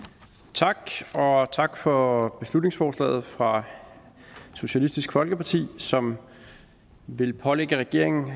tak og tak for beslutningsforslaget fra socialistisk folkeparti som vil pålægge regeringen